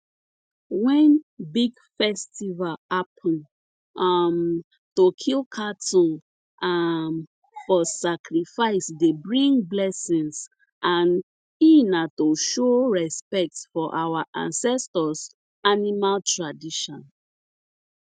when big festival happen um to kill cattle um for sacrifice dey bring blessings and e na to show respect for our ancestors animal tradition